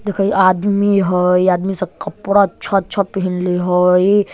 देखा इ आदमी हई इ आदमी सब कपड़ा अच्छा-अच्छा पहिनले हई।